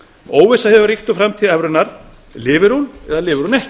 óvissa hefur ríkt um framtíð evrunnar lifir hún eða lifir hún ekki